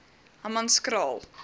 hammanskraal